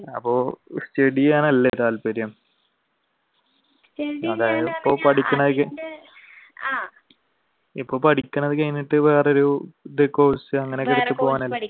അപ്പൊ study ചെയ്യാൻ അല്ലെ താല്പര്യം ഇപ്പൊ പഠിക്കണത് കഴിഞ്ഞിട്ട് വേറെയൊരു course